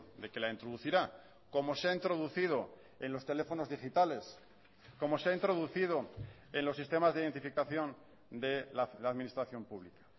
de que la introducirá como se ha introducido en los teléfonos digitales como se ha introducido en los sistemas de identificación de la administración pública